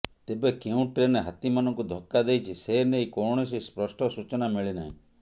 ତେବେ କେଉଁ ଟ୍ରେନ ହାତୀମାନଙ୍କୁ ଧକ୍କା ଦେଇଛି ସେ ନେଇ କୌଣସି ସ୍ପଷ୍ଟ ସୂଚନା ମିଳିନାହିଁ